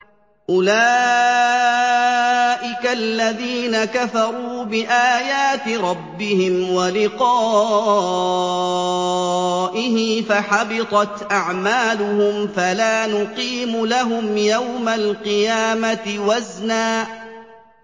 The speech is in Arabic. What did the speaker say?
أُولَٰئِكَ الَّذِينَ كَفَرُوا بِآيَاتِ رَبِّهِمْ وَلِقَائِهِ فَحَبِطَتْ أَعْمَالُهُمْ فَلَا نُقِيمُ لَهُمْ يَوْمَ الْقِيَامَةِ وَزْنًا